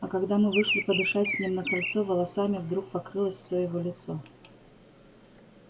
а когда мы вышли подышать с ним на крыльцо волосами вдруг покрылось всё его лицо